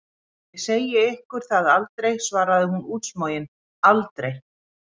Ég segi ykkur það aldrei, svarði hún útsmogin, aldrei!